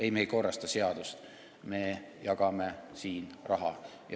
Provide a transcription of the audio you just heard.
Ei, me ei korrasta seadust, me jagame siin raha.